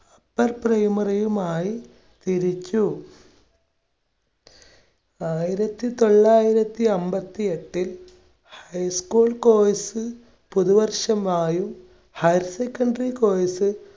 upper primary യുമായി തിരിച്ചു. ആയിരത്തി തൊള്ളായിരത്തി അൻപത്തിഎട്ടിൽ high school course പുതുവർഷമായും higher secondary course